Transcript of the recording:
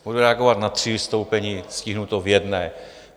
Budu reagovat na tři vystoupení, stihnu to v jednom.